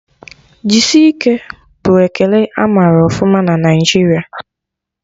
Jisike' bụ ekele amara ọfụma na Naijiria